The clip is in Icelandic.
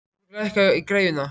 Thorberg, lækkaðu í græjunum.